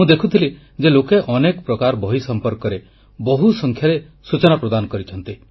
ମୁଁ ଦେଖୁଥିଲି ଯେ ଲୋକେ ଅନେକ ପ୍ରକାର ବହି ସମ୍ପର୍କରେ ବହୁସଂଖ୍ୟାରେ ସୂଚନା ପ୍ରଦାନ କରିଛନ୍ତି